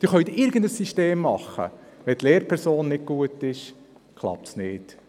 Sie können irgendein System wählen, wenn jedoch die Lehrperson nicht gut ist, klappt es nicht.